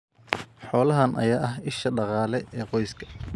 Xoolahan ayaa ah isha dhaqaale ee qoyska.